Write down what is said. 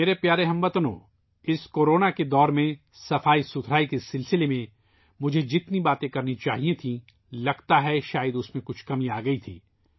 میرے پیارے ہم وطنو ، مجھے اس کورونا دور میں صفائی کے بارے میں جتنی بات کرنی چاہیئے تھی ، لگتا ہے ، شاید اس میں کمی آئی ہے